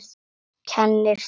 Kennir þú?